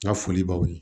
Ya foli b'aw ye